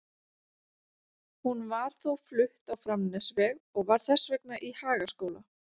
Hún var þó flutt á Framnesveg og var þess vegna í Hagaskóla.